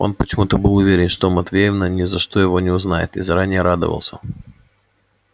он почему-то был уверен что матвеевна ни за что его не узнает и заранее радовался